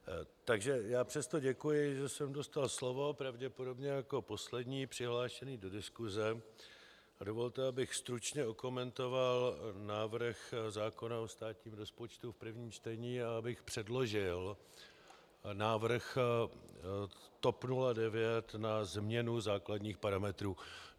Takže já přesto děkuji, že jsem dostal slovo, pravděpodobně jako poslední přihlášený do diskuse, a dovolte, abych stručně okomentoval návrh zákona o státním rozpočtu v prvním čtení a abych předložil návrh TOP 09 na změnu základních parametrů.